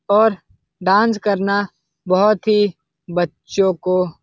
और डांस करना बहुत ही बच्चों को --